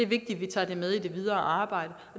vi tager det med i det videre arbejde